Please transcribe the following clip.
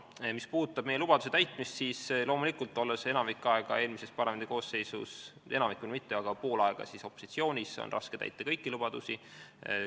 Mis puudutab meie lubaduse täitmist, siis loomulikult, olles eelmises parlamendikoosseisus pool aega opositsioonis, oli raske kõiki lubadusi täita.